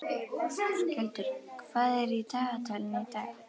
Skjöldur, hvað er í dagatalinu í dag?